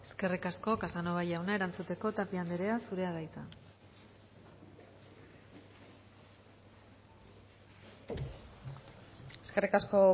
eskerrik asko casanova jauna erantzuteko tapia andrea zurea da hitza eskerrik asko